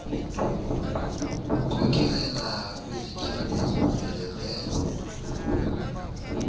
wkhokelela kwizityalo ezomeleleyo